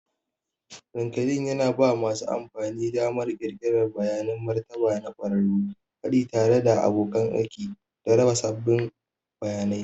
Linkedln yana ba masu amfani damar ƙirƙirar bayanan martaba na ƙwararru, haɗi tare da abokan aiki, da raba sabbin bayanai.